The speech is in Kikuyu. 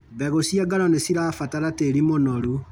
Mbegũ cia ngano nĩcirabatara tĩri mũnoru.